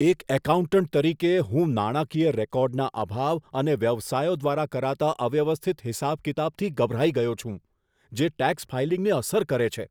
એક એકાઉન્ટન્ટ તરીકે, હું નાણાકીય રેકોર્ડના અભાવ અને વ્યવસાયો દ્વારા કરાતા અવ્યવસ્થિત હિસાબ કિતાબથી ગભરાઈ ગયો છું, જે ટેક્સ ફાઇલિંગને અસર કરે છે.